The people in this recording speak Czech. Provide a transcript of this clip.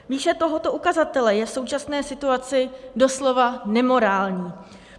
Výše tohoto ukazatele je v současné situaci doslova nemorální.